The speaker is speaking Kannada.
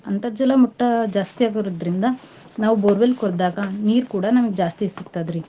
ಅಂತರ್ಜಲ ಮಟ್ಟ ಜಾಸ್ತೀ ಆಗುರೋದ್ರಿಂದ ನಾವ್ borewell ಕೊರ್ದಾಗ ನೀರ್ ಕೂಡ ನಮ್ಗ್ ಜಾಸ್ತೀ ಸಿಗ್ತತ್ರಿ.